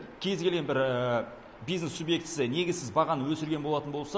кез келген бір бизнес субъектісі негізсіз бағаны өсірген болатын болса